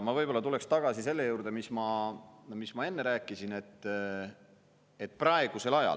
Ma tulen tagasi selle juurde, mis ma enne rääkisin.